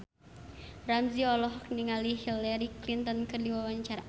Ramzy olohok ningali Hillary Clinton keur diwawancara